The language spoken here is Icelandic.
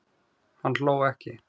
Hann hló ekki.